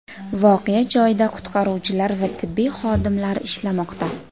Voqea joyida qutqaruvchilar va tibbiyot xodimlari ishlamoqda.